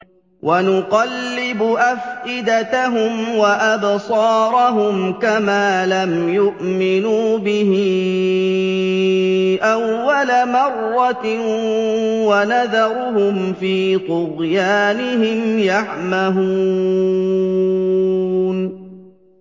وَنُقَلِّبُ أَفْئِدَتَهُمْ وَأَبْصَارَهُمْ كَمَا لَمْ يُؤْمِنُوا بِهِ أَوَّلَ مَرَّةٍ وَنَذَرُهُمْ فِي طُغْيَانِهِمْ يَعْمَهُونَ